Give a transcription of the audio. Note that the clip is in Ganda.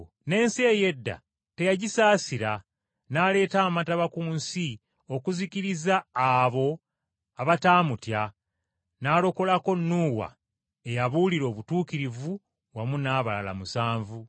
N’ensi ey’edda teyagisaasira, n’aleeta amataba ku nsi okuzikiriza abo abataamutya, n’alokolako Nuuwa eyabuulira obutuukirivu wamu n’abalala musanvu.